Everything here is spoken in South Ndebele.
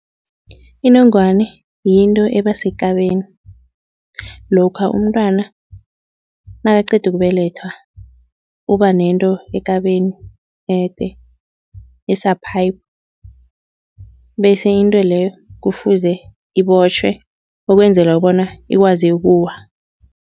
Inongwane yinto eba sekabeni. Lokha umntwana nakaqeda ukubelethwa uba nento ekabeni ede esa-pipe bese into leyo kufuze ibotjhwe ukwenzela bona ikwazi ukuwa.